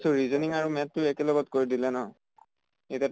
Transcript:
তো reasoning আৰু math টো একেলগে কৰি দিলে ন। এতিয়া